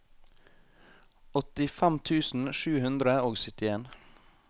åttifem tusen sju hundre og syttien